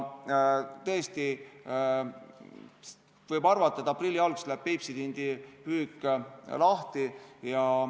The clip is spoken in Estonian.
Tõesti, võib arvata, et aprilli alguses läheb Peipsi tindi püük lahti.